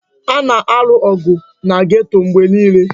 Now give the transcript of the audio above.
A na-alụ ọgụ na geto mgbe niile.